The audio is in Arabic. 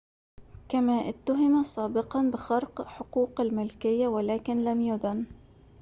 كما اُتهم سابقًا بخرق حقوق الملكية ولكن لم يُدن